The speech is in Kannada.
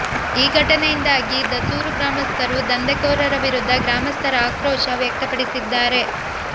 ಈ ಘಟನೆಯಿಂದಾಗಿ ದಸೂರು ಗ್ರಾಮಸ್ಥರು ದಂಧೆ ಕೋರರ ವಿರುದ್ಧ ಗ್ರಾಮಸ್ಥರ ಆಕ್ರೋಶ ವ್ಯಕ್ತಪಡಿಸಿದ್ದಾರೆ